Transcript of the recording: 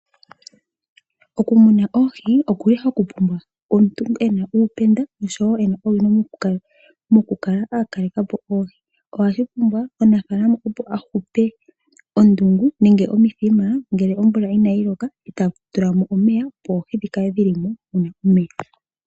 Okumuna oohi ohaku pumbwa omuntu ena uupenda oshowo owino nkene ena okukaleka po oohi. Omunafalama okwapumbwa ahupe ondungu nenge omuthima ngele omvula inayi loka tatula mo omeya opo oohi dhikale dhili mo muna omeya.